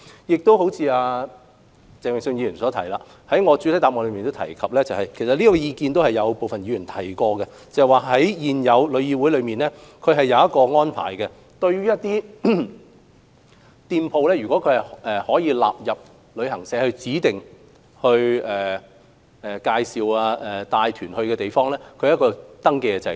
關於鄭泳舜議員的意見，我在主體答覆中亦有提及，而部分議員也曾提出這意見，也就是對於一些店鋪如納入為旅行社指定到訪的地方，現時旅議會設立了一個登記制度。